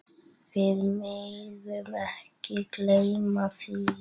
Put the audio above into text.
Við megum ekki gleyma því.